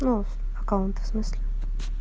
ну аккаунт в смысле